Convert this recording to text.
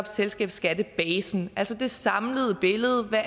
selskabsskattebasen altså det samlede billede af